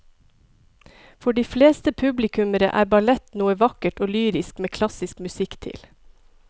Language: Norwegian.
For de fleste publikummere er ballett noe vakkert og lyrisk med klassisk musikk til.